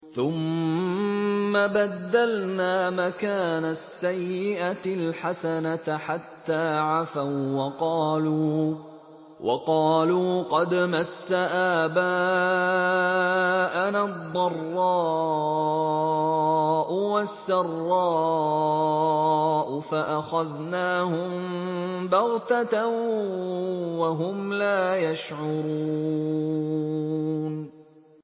ثُمَّ بَدَّلْنَا مَكَانَ السَّيِّئَةِ الْحَسَنَةَ حَتَّىٰ عَفَوا وَّقَالُوا قَدْ مَسَّ آبَاءَنَا الضَّرَّاءُ وَالسَّرَّاءُ فَأَخَذْنَاهُم بَغْتَةً وَهُمْ لَا يَشْعُرُونَ